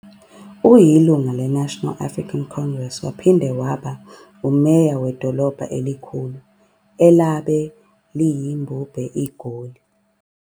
Uyilunga le African National Congress, waphinde waba ngumeya wedolobha elikhulu elabe liyimbumbe iGoli.